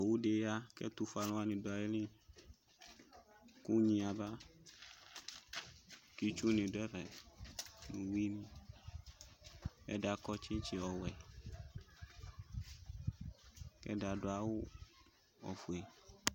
Ɔsɩ nɩ akɔ nʋ ɛfʋ no ivi: edigbo alʋ kpolu, edigbo azɛ utue naɣla oke zi ivie ,kʋ kpolu nyaɣa yɛ bɩ ke zi dʋ nayili